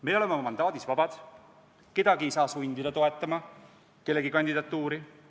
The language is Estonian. Meie oleme oma mandaadis vabad, kedagi ei saa sundida kellegi kandidatuuri toetama.